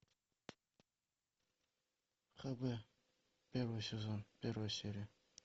хб первый сезон первая серия